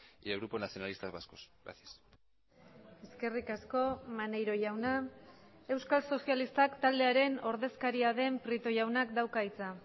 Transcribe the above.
y el grupo nacionalistas vascos gracias eskerrik asko maneiro jauna euskal sozialistak taldearen ordezkaria den prieto jaunak dauka hitza